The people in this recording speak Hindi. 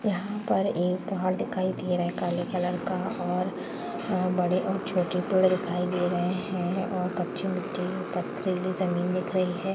यहाँ पर एक पहाड़ दिखाई दे रहा है काले कलर का| और बड़े और छोटे पेड़ दिखाई दे रहे हैं और कच्ची मिट्टी पथरीली जमीन दिख रही है।